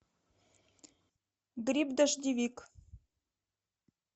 гриб дождевик